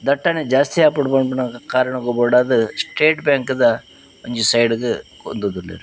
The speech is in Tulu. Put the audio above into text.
ದಟ್ಟಣೆ ಜಾಸ್ತಿ ಆಪುಂಡು ಪನ್ಪಿನ ಕಾರಣಗ್ ಬೋಡಾದ್ ಸ್ಟೇಟ್ ಬ್ಯಾಂಕ್ ದ ಒಂಜಿ ಸೈಡ್ ಗ್ ಹೊಂದುದುಲ್ಲೆರ್.